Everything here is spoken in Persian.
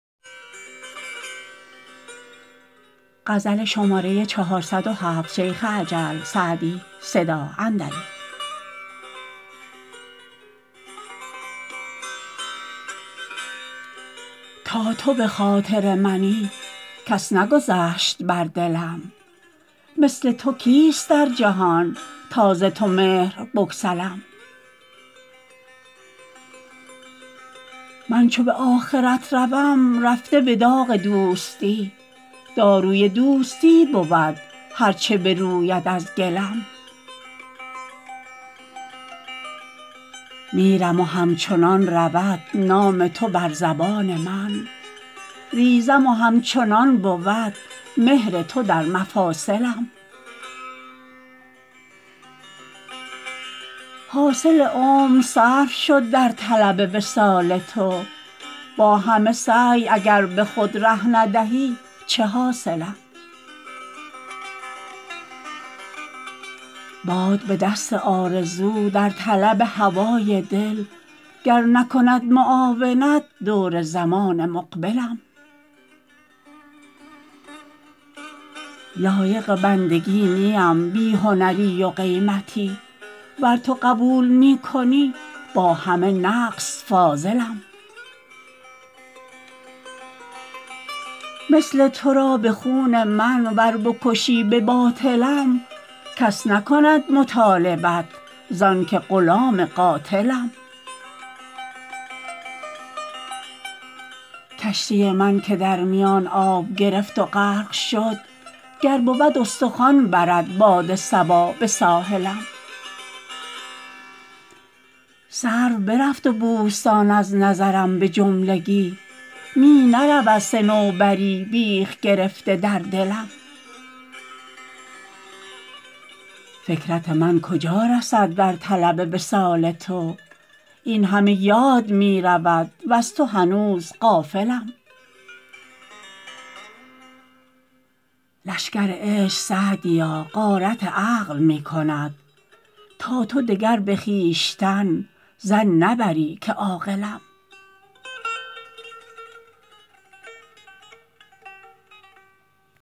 تا تو به خاطر منی کس نگذشت بر دلم مثل تو کیست در جهان تا ز تو مهر بگسلم من چو به آخرت روم رفته به داغ دوستی داروی دوستی بود هر چه بروید از گلم میرم و همچنان رود نام تو بر زبان من ریزم و همچنان بود مهر تو در مفاصلم حاصل عمر صرف شد در طلب وصال تو با همه سعی اگر به خود ره ندهی چه حاصلم باد بدست آرزو در طلب هوای دل گر نکند معاونت دور زمان مقبلم لایق بندگی نیم بی هنری و قیمتی ور تو قبول می کنی با همه نقص فاضلم مثل تو را به خون من ور بکشی به باطلم کس نکند مطالبت زان که غلام قاتلم کشتی من که در میان آب گرفت و غرق شد گر بود استخوان برد باد صبا به ساحلم سرو برفت و بوستان از نظرم به جملگی می نرود صنوبری بیخ گرفته در دلم فکرت من کجا رسد در طلب وصال تو این همه یاد می رود وز تو هنوز غافلم لشکر عشق سعدیا غارت عقل می کند تا تو دگر به خویشتن ظن نبری که عاقلم